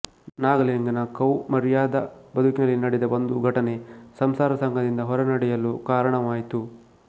ನಾಗಲಿಂಗನ ಕೌಮಾರ್ಯದ ಬದುಕಿನಲ್ಲಿ ನಡೆದ ಒಂದು ಘಟನೆ ಸಂಸಾರಸಂಗದಿಂದ ಹೊರನಡೆಯಲು ಕಾರಣವಾಯಿತು